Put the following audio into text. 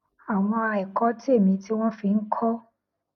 àwọn èkó tèmí tí wón fi ń kó